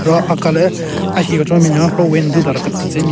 Ro aka le ahi kechon ne binyon ro window dara ketetsen me.